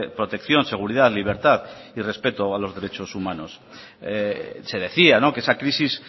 protección seguridad libertad a los derechos humanos se decía que esa crisis